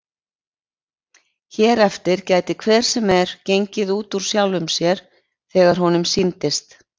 Hér eftir gæti hver sem er gengið út úr sjálfum sér þegar honum sýndist.